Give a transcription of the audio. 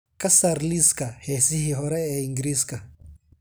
ka saar liiska heesihii hore ee ingiriisiga